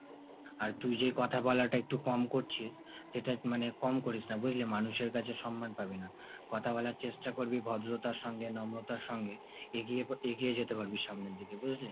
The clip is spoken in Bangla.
আর তুই যেই কথা বলাটা একটু কম করছিস সেটা মানে কম করিস না বুঝলি মানুষের কাছে সম্মান পাবিনা। কথা বলার চেষ্টা করবি ভদ্রতার সঙ্গে নম্রতার সঙ্গে। এগিয়ে এগিয়ে যেতে পারবি সামনের দিকে বুঝলি?